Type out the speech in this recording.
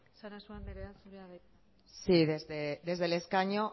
sarasua anderea zurea da hitza sí desde el escaño